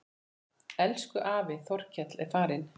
Elsku afi Þorkell er farinn.